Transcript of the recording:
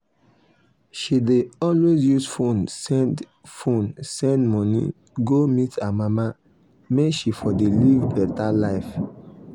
she dey always use fone send fone send money go meet her mama make she for de live beta life